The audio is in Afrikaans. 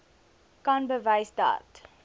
kan bewys dat